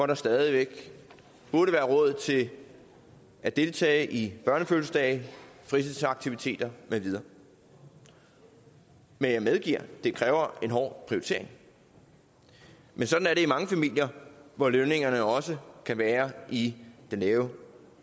der stadig væk burde være råd til at deltage i børnefødselsdage fritidsaktiviteter med videre jeg medgiver at det kræver en hård prioritering men sådan er det i mange familier hvor lønningerne også kan være i den lave